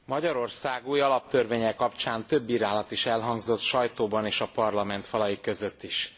Magyarország új alaptörvénye kapcsán több bírálat is elhangzott a sajtóban és a Parlament falai között is.